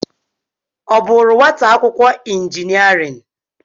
Ọ bụụrụ nwata akwụkwọ injiniarịn?